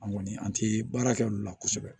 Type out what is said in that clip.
An kɔni an tɛ baara kɛ olu la kosɛbɛ